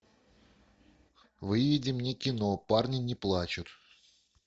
выведи мне кино парни не плачут